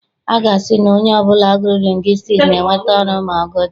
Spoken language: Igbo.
A sị na onye ọbụla gụrụ lingwistiks ga-enweta ọrụ ma ọ gụchaa.